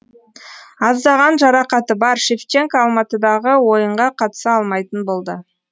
аздаған жарақаты бар шевченко алматыдағы ойынға қатыса алмайтын болды